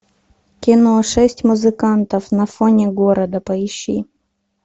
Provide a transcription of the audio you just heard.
кино шесть музыкантов на фоне города поищи